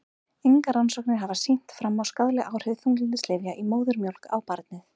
Engar rannsóknir hafa sýnt fram á skaðleg áhrif þunglyndislyfja í móðurmjólk á barnið.